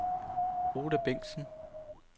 Oda Bengtsen